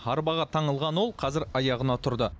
арбаға таңылған ол қазір аяғына тұрды